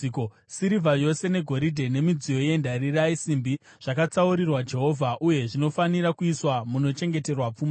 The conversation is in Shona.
Sirivha yose negoridhe nemidziyo yendarira neyesimbi zvakatsaurirwa Jehovha uye zvinofanira kuiswa munochengeterwa pfuma yake.”